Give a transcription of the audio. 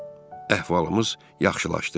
Əhvalımız yaxşılaşdı.